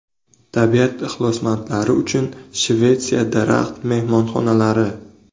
Tabiat ixlosmandlari uchun Shvetsiya daraxt-mehmonxonalari .